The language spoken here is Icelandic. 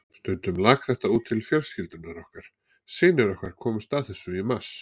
Stundum lak þetta út til fjölskyldunnar, synir okkar komust að þessu í mars.